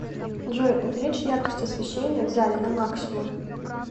джой увеличь яркость освещения в зале на максимум